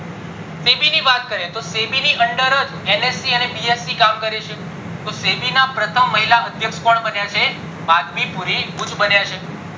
SEBI ની વાત કરીએ તો SEBI ની under જ NSE અને BSE કામ કરે છે તો SEBI ના પ્રથમ મહિલા અધ્યક્ષ કોણ બન્યા છે વાઘમી પૂરી ભૂત બન્યા છે